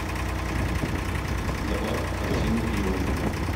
добавь в корзину пиво